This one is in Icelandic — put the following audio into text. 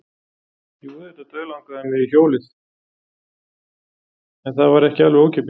Jú, auðvitað dauðlangaði mig í hjólið en það var ekki alveg ókeypis.